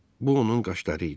Bu onun qaşları idi.